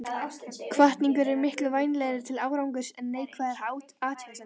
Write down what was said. Hvatning er miklu vænlegri til árangurs en neikvæðar athugasemdir.